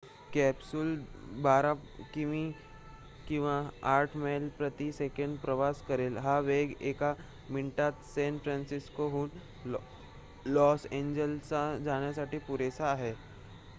Capsule १२.८ किमी किंवा ८ मैल प्रति सेकंद प्रवास करेल. हा वेग एका मिनिटात सॅन फ्रान्सिस्कोहून लॉस एॅन्जेलिसला जाण्यासाठी पुरेसा आहे